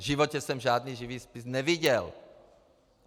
V životě jsem žádný živý spis neviděl.